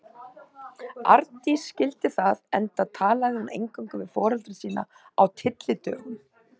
Arndís skildi það, enda talaði hún eingöngu við foreldra sína á tyllidögum.